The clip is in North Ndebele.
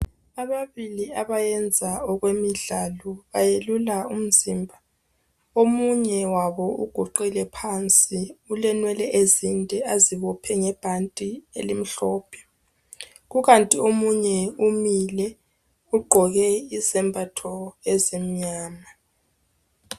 ababili abyenza okwemidlalo bayelula umzimba omunye wabo uguqile phansi ulenwele ezinde azibophe ngebhanti elimhlophe kukanti omunye umile ugqoke izembatho ezimnyama